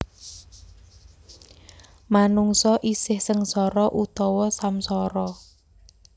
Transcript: Manungsa isih sengsara utawa samsara